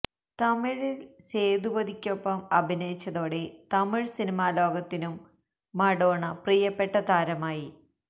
തമിഴില് സേതുപതിക്കൊപ്പം അഭിനയിച്ചതോടെ തമിഴ് സിനിമാ ലോകത്തിനും മഡോണ പ്രിയപ്പെട്ട താരമായി